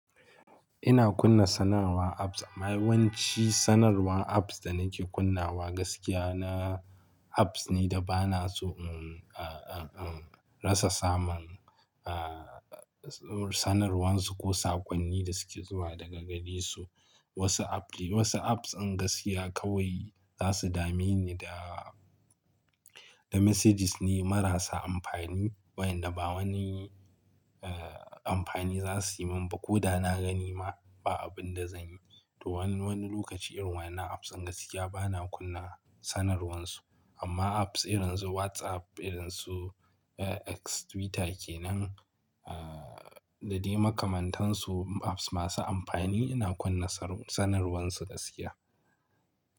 Ina kunna sanarwar apps. Amma yawanci sanarwan apps da nake kunnawa gaskiya na apps ne da ba na so, um, a, a, a rasa samun, a, sanarwan su ko saƙonnin da suke zuwa daga gari su. Wasu app, wasu apps in gaskiya kawai za su dame ni da, da messages ne marasa amfani waɗanda ba wani, a, amfani za su yi min ba. Ko da na gani ma ba abin da zan yi. To wani, wani lokaci irwanna apps in gaskiya ba na kunna sanarwan su. Amma apps irin su WhatsApp, irin su X, Twitter ke nan, a, da dai makamantansu apps masu amfani ina kunna sanarwan su gaskiya.